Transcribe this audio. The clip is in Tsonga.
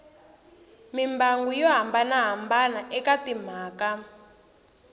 mimbangu yo hambanahambana eka timhaka